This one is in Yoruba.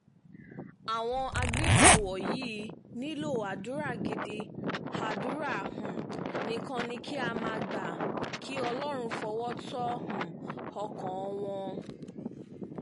àwọn agbébọn wọ̀nyí nílò àdúrà gidi àdúrà um nìkan ni ká máa gbà kí ọlọ́run fọwọ́ tó um ọkàn wọn